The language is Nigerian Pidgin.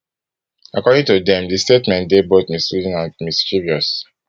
according to dem di statement dey both misleading and mischievous